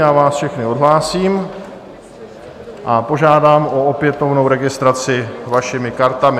Já vás všechny odhlásím a požádám o opětovnou registraci vašimi kartami.